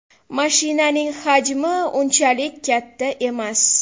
Mashinaning hajmi unchalik katta emas.